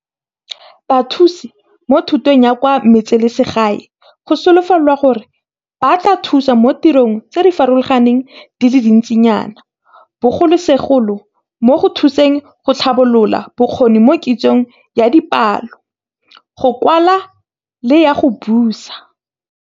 Bathusi mo Thutong ya kwa Metseselegae go solofelwa gore ba tla thusa mo ditirong tse di farologaneng di le dintsinyana, bogolosegolo mo go thuseng go tlhabolola bokgoni mo kitsong ya dipalo, go kwala le ya go buisa.